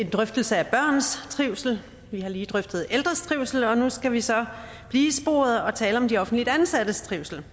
en drøftelse af børns trivsel vi har lige drøftet ældres trivsel og nu skal vi så blive i sporet og tale om de offentligt ansattes trivsel